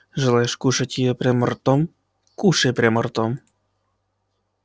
желаешь кушать её прямо ротом кушай прямо ротом